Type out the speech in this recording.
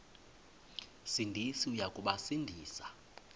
sindisi uya kubasindisa